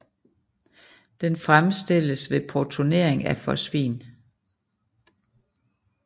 Den fremstilles ved protonering af fosfin